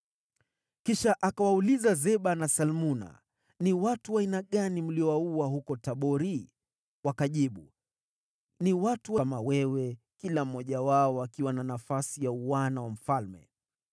Kisha akawauliza Zeba na Salmuna, “Ni watu wa aina gani mliowaua huko Tabori?” Wakajibu, “Ni watu kama wewe, kila mmoja wao akiwa na nafasi ya uana wa mfalme.”